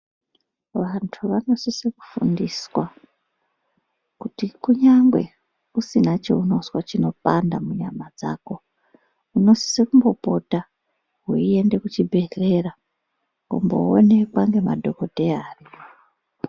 Vantu vanosisa kufundiswa kuti kunyangwe pausina chaunonzwa kupanda dzako munosisa kumbopota weienda kuchibhedhlera kundoonekwa nemadhokodheya ariko.